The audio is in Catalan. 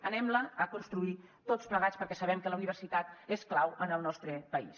anem la a construir tots plegats perquè sabem que la universitat és clau en el nostre país